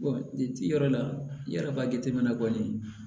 yɔrɔ la yala a jateminɛ na kɔni